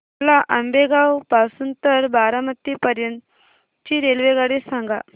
मला आंबेगाव पासून तर बारामती पर्यंत ची रेल्वेगाडी सांगा